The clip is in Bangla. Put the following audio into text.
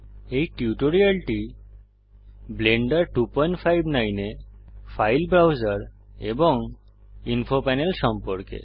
এই টিউটোরিয়ালটি ব্লেন্ডার 259 এ ফাইল ব্রাউজার এবং ইনফো প্যানেল সম্পর্কে